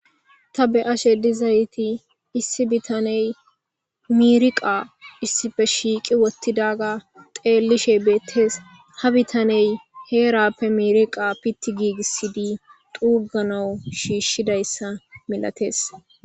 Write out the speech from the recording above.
Ta be ashe dizayti issi bitaney miriqa issife shiiqi wottidaga xeellishe beettees ha bitaney heerappe miriqa pitti giigisidi duuganawu shiishshidayssa milatees.